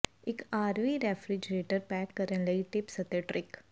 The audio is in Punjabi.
ਇੱਕ ਆਰਵੀ ਰੈਫ੍ਰਿਜਰੇਟਰ ਪੈਕ ਕਰਨ ਲਈ ਟਿਪਸ ਅਤੇ ਟਰਿੱਕ